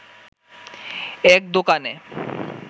এক দোকানে